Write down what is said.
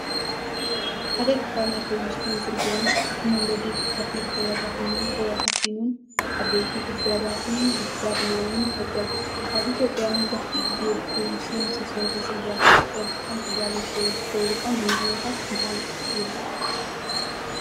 ሓደ ክፋል ናይ ኮብልስቶን ጽርግያ። እቲ መንገዲ ብኸፊል ተበታቲኑን ተበታቲኑን ዓበይቲ ጉድጓዳትን ጉድጓድ ማይን ይፈጥር። ኣብ ኢትዮጵያ መብዛሕትኡ ግዜ ብኮብልስቶን ዝተሰርሑ ጽርግያታት ቀልጢፎም ክበላሸዉ ዝገብሩ ቀንዲ ምኽንያታት እንታይ እዮም?